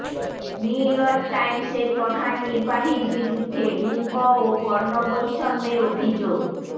new York টাইমসের প্রধান নির্বাহীর বিরুদ্ধে লিঙ্গ ও বর্ণ বৈষম্যের অভিযোগ